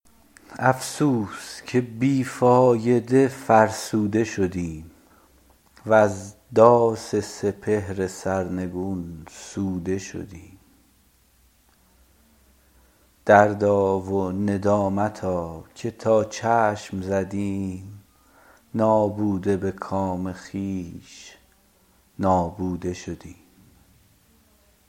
افسوس که بی فایده فرسوده شدیم وز داس سپهر سرنگون سوده شدیم دردا و ندامتا که تا چشم زدیم نابوده به کام خویش نابوده شدیم